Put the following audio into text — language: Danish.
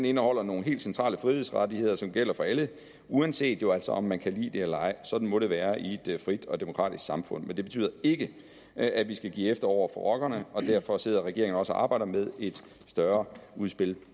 indeholder nogle helt centrale frihedsrettigheder som gælder for alle uanset jo altså om man kan lide det eller ej sådan må det være i et frit og demokratisk samfund men det betyder ikke at vi skal give efter over for rockerne og derfor sidder regeringen også og arbejder med et større udspil